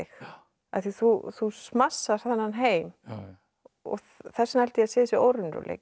af því þú smassar þennan heim og þess vegna held ég að sé þessi óraunveruleiki þú